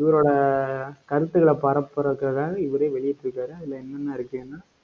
இவரோட கருத்துக்களை பரப்புவதற்காக, இவரே வெளியிட்டிருக்காரு. அதுல என்னென்ன இருக்குன்னா